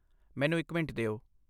ਮੈਨੂੰ ਇੱਕ ਮਿੰਟ ਦਿਓ।